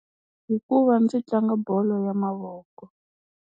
Hikuva ndzi tlanga bolo ya mavoko.